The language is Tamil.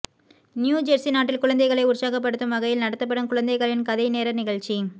நியூ ஜெர்சி நாட்டில் குழந்தைகளை உற்சாகப்படுத்தும் வகையில் நடத்தப்படும் குழந்தைகளின் கதை நேர நிகழ்ச்சி